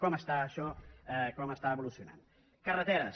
com està això com està evolucionant carreteres